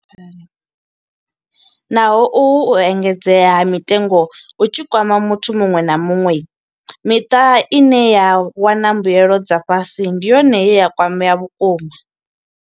Naho uhu u engedzea ha mitengo hu tshi kwama muthu muṅwe na muṅwe, miṱa ine ya wana mbuelo dza fhasi ndi yone ye ya kwamea vhukuma.